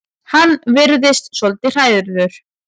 Hann virðist svolítið hrærður.